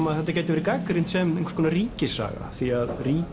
að þetta gæti verið gagnrýnt sem einhvers konar ríkissaga því